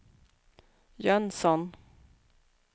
Jönsson